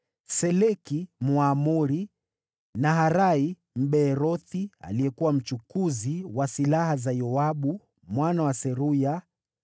Seleki, Mwamoni; Naharai, Mbeerothi, aliyekuwa mbeba silaha za Yoabu mwana wa Seruya;